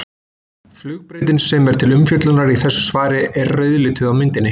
Flugbrautin sem er til umfjöllunar í þessu svari er rauðlituð á myndinni.